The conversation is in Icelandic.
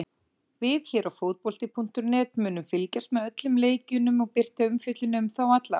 Við hér á fótbolti.net munum fylgjast með öllum leikjunum og birta umfjöllun um þá alla.